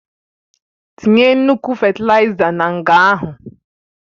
Tinye nnukwu fétilaiza nga ahụ!